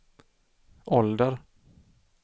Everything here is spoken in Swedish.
ålder